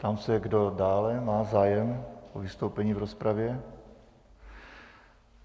Ptám se, kdo dále má zájem o vystoupení v rozpravě.